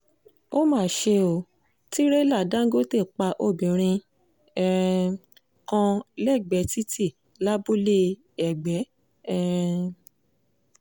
ó mà ṣe ó tìrẹ̀là dàńgọ́tẹ̀ pa obìnrin um kan lẹ́gbẹ̀ẹ́ títí lábúlé-ẹgbẹ́ um